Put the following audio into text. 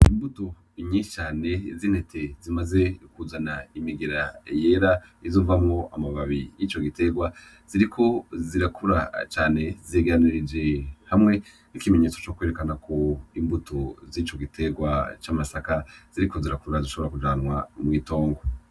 Imbuto nyinshi cane z'intete zimaze kuzana imigera yera izovamwo amababi y'ico gitegwa, ziriko zirakura cane, zegeranirije hamwe nk'ikimenyetso co kwerekana ko imbuto zico gitegwa c'amasaka ziriko zirakura zishobora kujanwa mw'itongo.